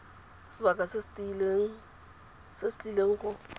sebaka se se tlileng go